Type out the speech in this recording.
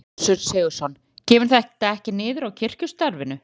Gissur Sigurðsson: Kemur þetta ekkert niður á kirkjustarfinu?